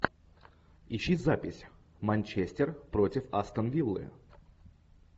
ищи запись манчестер против астон виллы